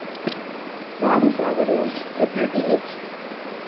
ബാബു സ്വാഗതവും ഡെപ്യൂട്ടി ഹ്‌